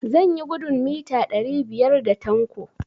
Zan yi gudun mita ɗari biyar da Tanko.